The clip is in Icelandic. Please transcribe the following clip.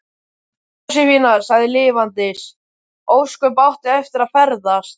Jósefína sagði: Lifandis ósköp áttu eftir að ferðast.